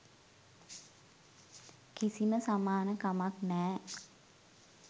කිසිම සමාන කමක් නෑ.